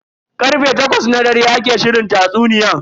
Karfe takwas na dare ake shirin tatsuniyan.